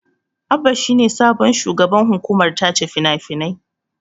Abba is the new managing director, film censorship board.